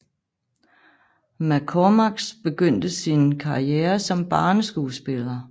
McCormack begyndte sin karriere som barneskuespiller